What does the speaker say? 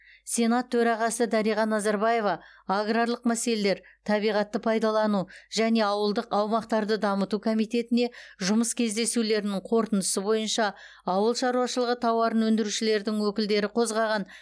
сенат төрағасы дариға назарбаева аграрлық мәселелер табиғатты пайдалану және ауылдық аумақтарды дамыту комитетіне жұмыс кездесулерінің қорытындысы бойынша ауыл шаруашылығы тауарын өндірушілердің өкілдері қозғаған